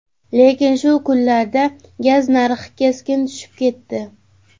Lekin shu kunlarda gaz narxi keskin tushib ketdi.